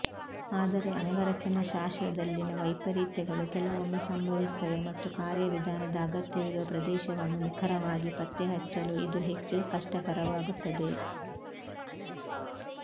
ಆದರೆ ಅಂಗರಚನಾ ಶಾಸ್ತ್ರದಲ್ಲಿನ ವೈಪರೀತ್ಯಗಳು ಕೆಲವೊಮ್ಮೆ ಸಂಭವಿಸುತ್ತವೆ ಮತ್ತು ಕಾರ್ಯವಿಧಾನದ ಅಗತ್ಯವಿರುವ ಪ್ರದೇಶವನ್ನು ನಿಖರವಾಗಿ ಪತ್ತೆಹಚ್ಚಲು ಇದು ಹೆಚ್ಚು ಕಷ್ಟಕರವಾಗುತ್ತದೆ